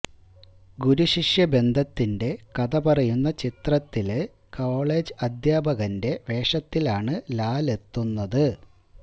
ഗുരുശിഷ്യ ബന്ധത്തിന്റെ കഥ പറയുന്ന ചിത്രത്തില് കോളേജ് അധ്യാപകന്റെ വേഷത്തിലാണ് ലാലെത്തുന്നത്